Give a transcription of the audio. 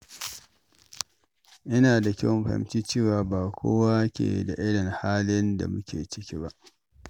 Yana da kyau a fahimci cewa ba kowa ke da irin halin da muke ciki ba.